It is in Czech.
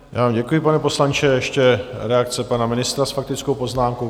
Já vám děkuji, pane poslanče, ještě reakce pana ministra s faktickou poznámkou.